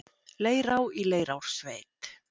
Leirá í Leirársveit.